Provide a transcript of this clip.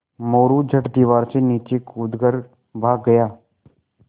मोरू झट दीवार से नीचे कूद कर भाग गया